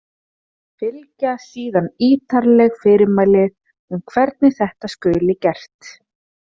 Fylgja síðan ítarleg fyrirmæli um hvernig þetta skuli gert.